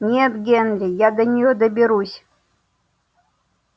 нет генри я до нее доберусь